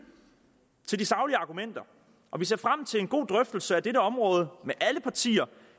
til de saglige argumenter og vi ser frem til en god drøftelse af dette område med alle partier